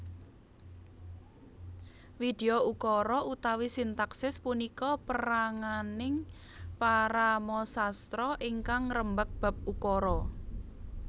Widyaukara utawi sintaksis punika peranganing paramasastra ingkang ngrembag bab ukara